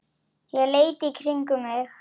Ég leit í kringum mig.